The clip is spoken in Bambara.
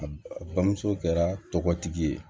A bamuso kɛra tɔgɔtigi ye